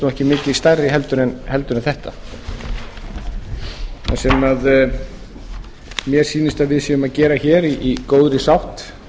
ekki mikið stærri heldur en þetta það sem mér sýnist að við séum að gera hér í góðri sátt